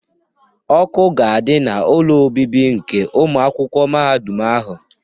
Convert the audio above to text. Ọkụ ga-adị n'ụlọ obibi nke ụmụ akwụkwọ mahadum ahụ.